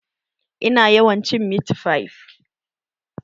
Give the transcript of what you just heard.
Ina yawan cin mit fif